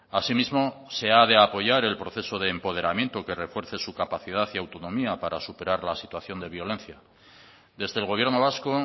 asimismo se ha de apoyar el proceso de empoderamiento que refuerce su capacidad y autonomía para superar la situación de violencia desde el gobierno vasco